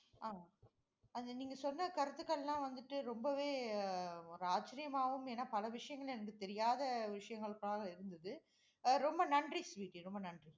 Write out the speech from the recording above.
ஆமாம் and நீங்க சொன்ன கருத்துக்கள் எல்லாம் வந்துட்டு, ரொம்பவே அஹ் ஒரு ஆச்சரியமாவும், ஏன்னா பல விஷயங்கள் எனக்கு தெரியாத விஷயங்களா இருந்தது. ரொம்ப நன்றி ஸ்வீட்டி ரொம்ப நன்றி.